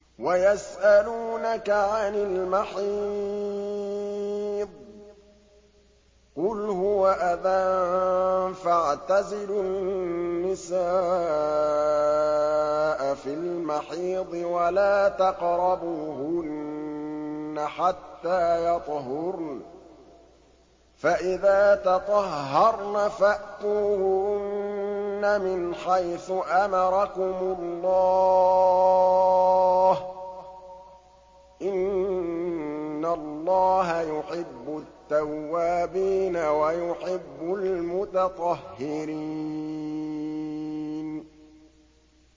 وَيَسْأَلُونَكَ عَنِ الْمَحِيضِ ۖ قُلْ هُوَ أَذًى فَاعْتَزِلُوا النِّسَاءَ فِي الْمَحِيضِ ۖ وَلَا تَقْرَبُوهُنَّ حَتَّىٰ يَطْهُرْنَ ۖ فَإِذَا تَطَهَّرْنَ فَأْتُوهُنَّ مِنْ حَيْثُ أَمَرَكُمُ اللَّهُ ۚ إِنَّ اللَّهَ يُحِبُّ التَّوَّابِينَ وَيُحِبُّ الْمُتَطَهِّرِينَ